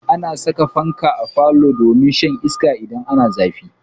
Ana saka fanka a falo domin shan iska idan ana zafi.